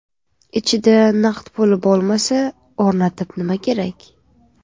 Ichida naqd pul bo‘lmasa, o‘rnatib nima kerak?